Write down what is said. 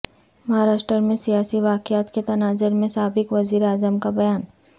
مہاراشٹر میں سیاسی واقعات کے تناظر میں سابق وزیر اعظم کا بیان